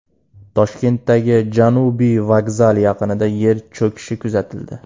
Toshkentdagi Janubiy vokzal yaqinida yer cho‘kishi kuzatildi.